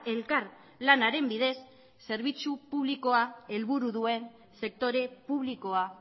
elkar lanaren bidez zerbitzu publikoa helburu duen sektore publikoa